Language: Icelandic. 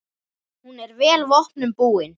Hún er vel vopnum búin.